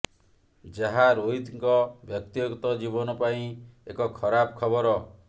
ଯାହା ରୋହିତଙ୍କ ବ୍ୟକ୍ତିଗତ ଜୀବନ ପାଇଁ ଏକ ଖରାପ ଖବର